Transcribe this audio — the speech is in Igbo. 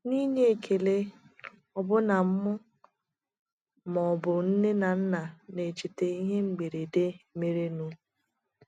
Na inye ekele, ọbụna mụ ma ọbụ nne na nnam na echeta ihe mberede merenụ.